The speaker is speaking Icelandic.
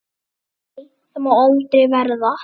Nei, það má aldrei verða.